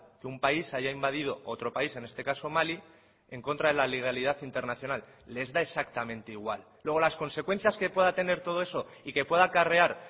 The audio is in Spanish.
que un país haya invadido otro país en este caso mali en contra de la legalidad internacional les da exactamente igual luego las consecuencias que pueda tener todo eso y que pueda acarrear